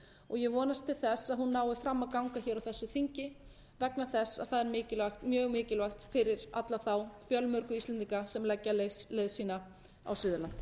og ég vonast til að hún nái fram að ganga hér á þessu þingi vegna þess að það er mjög mikilvægt fyrir alla þá fjölmörgu íslendinga sem leggja leið sína á suðurland